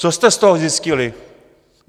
Co jste z toho zjistili?